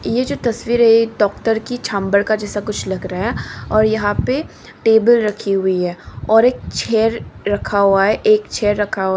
ये जो तस्वीर है ये डॉक्टर की छम्बर का जैसा कुछ लग रहा और यहां पे टेबल रखी हुई है और एक छेयर रखा हुआ है एक छेयर रखा हुआ है।